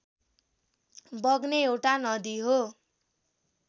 बग्ने एउटा नदी हो